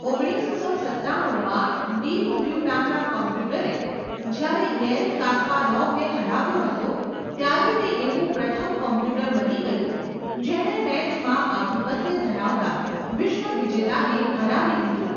ઓગણીસસો સત્તાણુંમાં, deep blue નામના કોમ્પ્યુટરે જ્યારે ગેરી કાસ્પારોવને હરાવ્યો હતો ત્યારે તે એવું પ્રથમ કોમ્પ્યુટર બની ગયું જેણે મેચમાં આધિપત્ય ધરાવતા વિશ્વ વિજેતાને હરાવી દીધું .